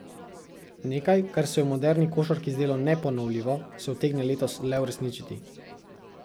Nekaj, kar se je v moderni košarki zdelo neponovljivo, se utegne letos le uresničiti.